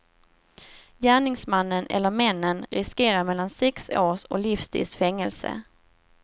Gärningsmannen eller männen riskerar mellan sex års och livstids fängelse.